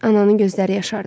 Ananın gözləri yaşardı.